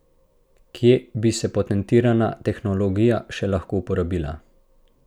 Kje bi se patentirana tehnologija še lahko uporabila?